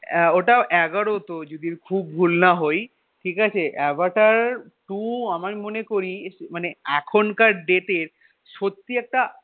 আহ ওটা এগারো তো যদি খুব ভুল না হই ঠিক আছে আভাটা two আমার মনে করি এখনকার date এর সত্যি একটা